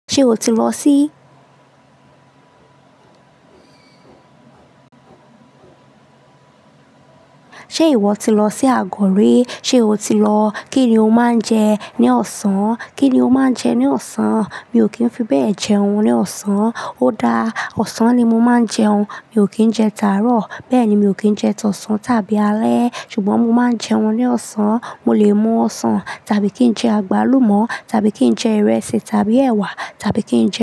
Ṣé o ti lọ sí, ṣe ìwọ ti lọ sí Àgọ̀ ri? Sé o ti lọ? Kí ni o máa ń jẹ ní ọ̀sán? Kí ni o máa ń jẹ ní ọ̀sán? Mi ò kí ń fi bẹ́ẹ̀ jẹún ní ọ̀sán. Ó dáa, ọ̀sán ni mo máa ń jẹun. Mi ò kí ń jẹ tánrọ̀, bẹ́ẹ̀ ni mi ò kí ń jẹ tọ̀sán tàbí alẹ́. Ṣùgbọ́n mo máa ń jẹun ní ọ̀sán. Mo lè mú ọ̀sán tàbí kí n jẹ àgbálùmọ́ tàbí kí n jẹ ìrẹsì tàbí ẹ̀wà tàbí kí n jẹ.